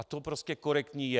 A to prostě korektní je.